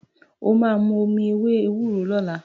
Wà á mu omi ewé ewúro lọ́la.